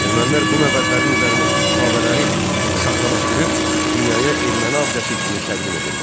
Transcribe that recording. Ermənilər bu məbədlərin üzərindəki kitabələri saxtalaşdırıb dünyaya erməni abidəsi kimi təqdim edirlər.